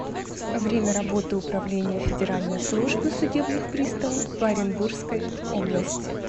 время работы управление федеральной службы судебных приставов по оренбургской области